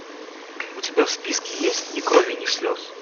у тебя в списке есть ни крови ни слез